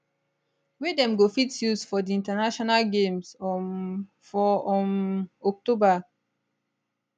wey dem go fit use for di international games um for um october